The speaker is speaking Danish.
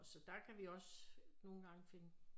Så der kan vi også nogen gange finde